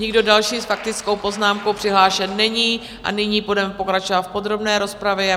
Nikdo další s faktickou poznámkou přihlášen není a nyní budeme pokračovat v podrobné rozpravě.